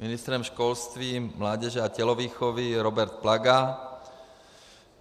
Ministrem školství, mládeže a tělovýchovy Robert Plaga.